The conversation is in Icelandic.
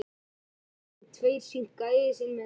Ég var alltaf viss um að maðurinn væri að spila með okkur.